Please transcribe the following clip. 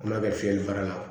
An b'a kɛ fiyɛli fara la